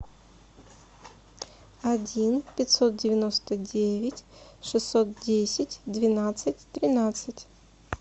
один пятьсот девяносто девять шестьсот десять двенадцать тринадцать